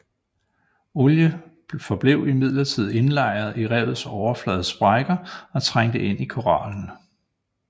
Olie forblev imidlertid indlejret i revets overflades sprækker og trængte ind i korallen